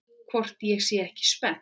Hvort ég sé ekki spennt?